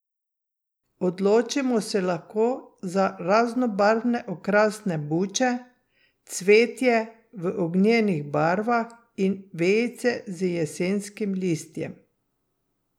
Odločimo se lahko za raznobarvne okrasne buče, cvetje v ognjenih barvah in vejice z jesenskim listjem.